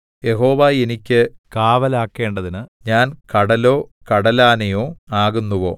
യഹോവ എനിക്ക് കാവലാക്കേണ്ടതിന് ഞാൻ കടലോ കടലാനയോ ആകുന്നുവോ